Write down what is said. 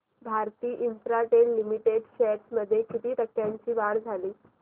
Bharti Infratel limited shares मध्ये किती टक्क्यांची वाढ झाली